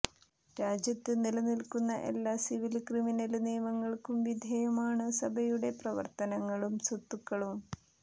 രാജ്യത്ത് നിലനില്ക്കുന്ന എല്ലാ സിവില് ക്രിമിനല് നിയമങ്ങള്ക്കും വിധേയമാണു സഭയുടെ പ്രവര്ത്തനങ്ങളും സ്വത്തുക്കളും